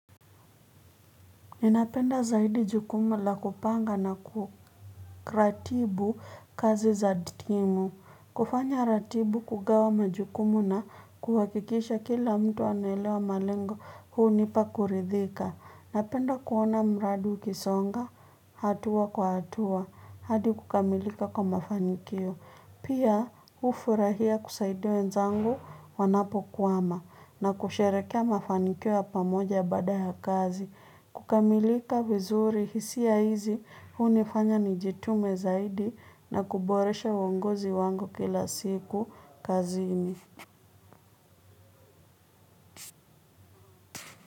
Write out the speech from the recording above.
Ninapenda zaidi jukumu la kupanga na kukratibu kazi za timu. Kufanya ratibu kugawa majukumu na kuhakikisha kila mtu anaelewa malengo hunipa kuridhika. Napenda kuona mradi ukisonga, hatua kwa hatua, hadi kukamilika kwa mafanikio. Pia hufurahia kusaidia wenzangu wanapo kwama na kusherekea mafanikio ya pamoja baada ya kazi. Kukamilika vizuri hisia hizi hunifanya nijitume zaidi na kuboresha uongozi wangu kila siku kazini.